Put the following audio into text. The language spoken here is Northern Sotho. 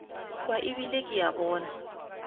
kwa ebile ke a bona